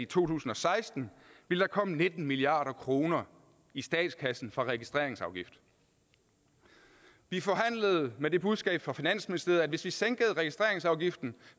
tusind og seksten ville komme nitten milliard kroner i statskassen fra registreringsafgiften vi forhandlede med det budskab fra finansministeriet at det hvis vi sænkede registreringsafgiften